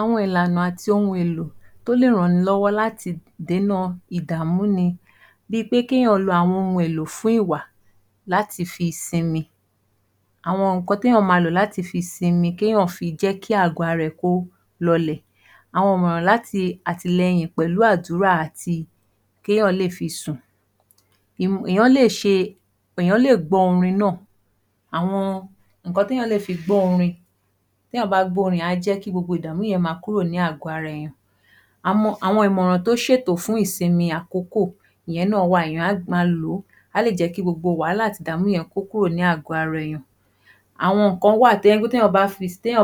Àwọn ìlànà àti ohun èlò tó lè ran ni lọ́wọ́ láti dèna ìdààmú ni. Bí i pé kéèyàn lo àwọn ohun èlò fún ìwà láti fi sinmi. Àwọn nǹkan téèyàn ma lò láti fi sinmi kéèyàn fi jẹ́ kí àgọ́-ara ẹ̀ kó lọ lè. Àwọn ìmọ̀ràn láti àtìlẹyìn pẹ̀lú àdúrà àti kéèyàn lè fi sùn. Èèyàn lè gbọ́ orin náà. Àwọn nǹkan téèyàn lè fi gbọ́ orin. Téèyàn bá gbọ́ orin á jẹ́ kí gbogbo ìdààmú yẹn ma kúrò ní àgọ́-ara èèyàn. Àwọn ìmọ̀ràn tó ṣètò fún ìsinmi àkókò, ìyẹn náà wà èèyàn á ma lò ó, á lè jẹ́ kí gbogbo wàhálà àti ìdààmú yẹn kó kúrò ní àgọ́-ara èèyàn. Àwọn nǹkan wà téèyàn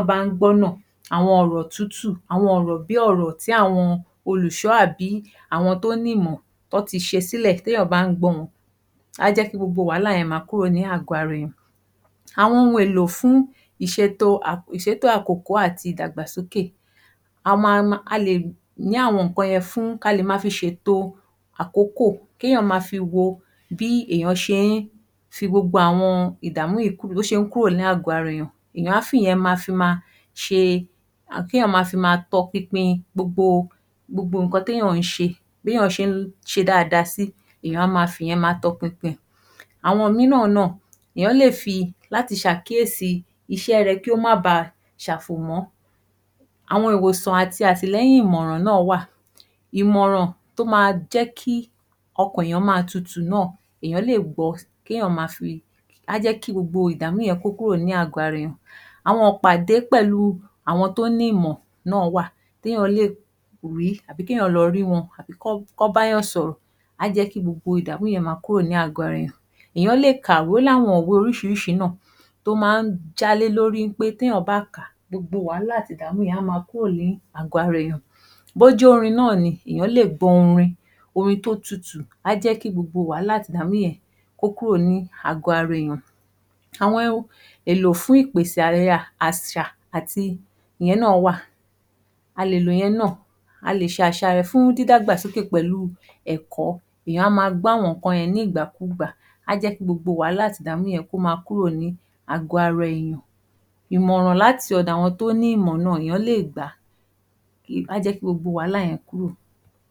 bá ń gbọ́ náà, àwọn ọ̀rọ̀ tútù, àwọn ọ̀rọ̀ bí ọ̀rọ̀ tí àwọn olùsọ àbí àwọn tó ní ìmọ̀ tó ti ṣe sílẹ̀ téèyàn bá ń gbọ́ wọn,, á jẹ́ kí gbogbo wàhálà yẹn ma kúrò ní àgọ́-ara èèyàn. Àwọn ohùn èlò fun ìṣètò àkókò àti ìdàgbàsókè. ka lè ma fi ṣètò àkókò kéèyàn ma fi wo bí èèyàn ṣe ń fi gbogbo àwọn ìdààmú yìí kúrò, bó ṣe ń kúrò ní àgọ́-ara èèyàn. Èèyàn á fi ìyẹn ma fi ma ṣe tọpinpin gbogbo nǹkan téèyàn ń ṣe, béèyàn ṣe ń ṣe dáadáa sí, èèyàn á ma fì yẹn ma tọpinpin rẹ̀. Àwọn mìíràn náà, èèyàn lè fi láti ṣàkíyèsí iṣẹ́ rẹ kí ó má ba ṣàfòmọ́. Àwọn ìwòsàn àti àtìlẹyìn ìmọ̀ràn náà wà. Ìmọ̀ràn tó ma jẹ́ kí ọkàn èèyàn ma tútù náà, èèyàn lè gbọ á jẹ́ kí gbogbo ìdààmú yẹn kó kúrò ní àgọ́-ara èèyàn. Àwọn ìpàdé pẹ̀lú àwọn tó ní ìmọ̀ náà wà téèyàn lè rí tàbí kéèyàn lọ rí wọn kọ́ bá yàn sọ̀rọ̀ á jẹ́ kí gbogbo ìdààmú yẹn ma kúrò ní àgọ́-ara èèyàn. Ó ní àwọn ìwé oríṣiríṣi náà tó máa ń já lé lórí pé téèyàn bá kà á gbogbo wàhálà àti ìdààmú yẹn á ma kúrò ní àgọ́-ara èèyàn. Bó jórin náà ni, èèyàn lè gbọ́ orin, orin tó tútù, á jẹ́ kí gbogbo wàhálà àti ìdààmú yẹn kó kúrò ní àgọ́-ara èèyàn. Àwọn èlò fún ìpèsè, àṣà ati ìyẹn náà wà. A lè lo ìyẹn náà, a lè ṣàṣàyàn fún dídàgbà sókè pẹ̀lú ẹ̀kọ́. Èèyàn á ma gbọ́ àwọn nǹkan yẹn nígbà kú gbà, á jẹ́ kí gbogbo wàhálà àti ìdààmú yẹn kó ma kúrò ní àgọ́-ara èèyàn. Ìmọ̀ràn láti ọ̀dọ̀ àwọn tó ní ìmọ̀ náà, èèyàn lè gbà á, á jẹ́ kí gbogbo wàhálà yẹn kúrò.